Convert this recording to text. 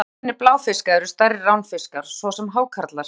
Helstu óvinir bláfiska eru stærri ránfiskar, svo sem hákarlar.